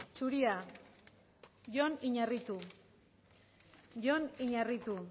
zuria jon iñarritu jon iñarritu